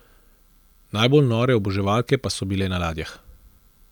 Najbolj nore oboževalke pa so bile na ladjah.